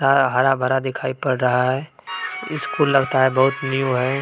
अ हरा भरा दिखाई पड़ रहा है स्कूल लगता है की बहुत न्यू है।